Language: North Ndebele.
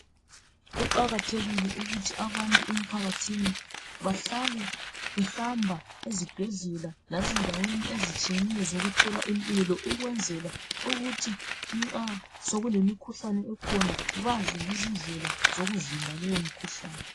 Kuqakathekile ukuthi abantu emphakathini bahlale behamba ezibhedlela lezindaweni ezitshiyeneyo zokuthola impilo ukwenzela ukuthi nxa sokulemikhuhkane ekhona, bazi ngezindlela zokuvimba leyo mikhuhlane.